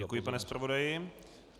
Děkuji, pane zpravodaji.